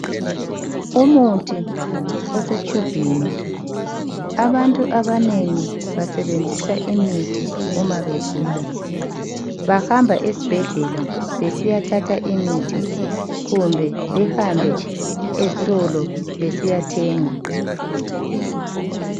Umuthi osetshubhini, abantu abanengi basebenzisa imithi uma begula. Bahamba esibhedlela besiyathatha imithi kumbe behambe ezitolo besiyathenga.